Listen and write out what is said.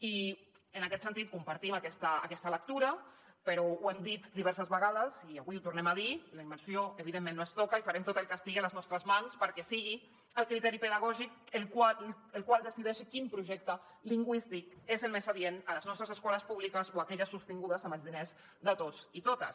i en aquest sentit compartim aquesta lectura però ho hem dit diverses vegades i avui ho tornem a dir la immersió evidentment no es toca i farem tot el que estigui a les nostres mans perquè sigui el criteri pedagògic el que decideixi quin projecte lingüístic és el més adient a les nostres escoles públiques o a aquelles sostingudes amb els diners de tots i totes